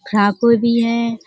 फ्राकों भी हैं।